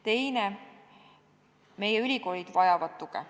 Teine teema: ülikoolid vajavad tuge.